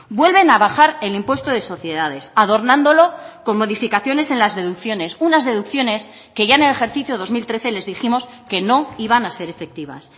vuelven a bajar el impuesto de sociedades adornándolo con modificaciones en las deducciones unas deducciones que ya en el ejercicio dos mil trece les dijimos que no iban a ser efectivas